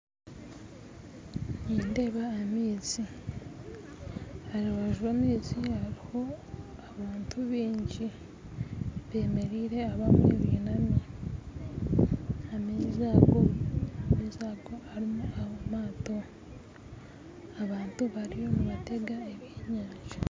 Nindeeba amaizi harubaju rwamaizi hariho abantu bingi bemereire abamwe binami, amaizi ago amaizi ago harimu amato abantu bariyo nibatega eby'enyanja